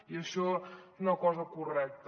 i això és una cosa correcta